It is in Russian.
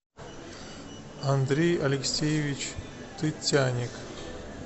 андрей алексеевич тытяник